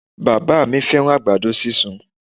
Bàbá à mí fẹ́ràn àgbàdo sísun